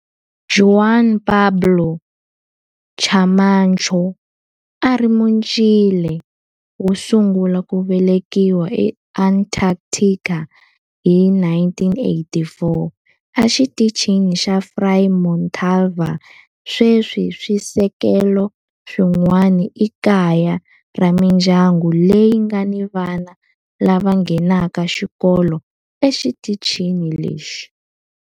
Juan Pablo Camacho a a ri Muchile wo sungula ku velekiwa eAntarctica hi 1984 eXitichini xa Frei Montalva. Sweswi swisekelo swin'wana i kaya ra mindyangu leyi nga ni vana lava nghenaka xikolo exitichini lexi.